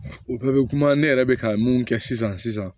O bɛɛ bɛ kuma ne yɛrɛ bɛ ka mun kɛ sisan